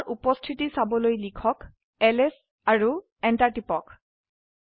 তাৰ উপস্থিতি চাবলৈ লিখক এলএছ আৰু এন্টাৰ টিপক